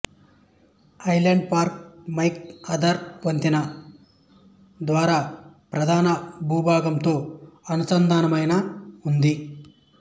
island Park McArthur వంతెన ద్వారా ప్రధానభూభాగంతో అనుసంధానమైన ఉంది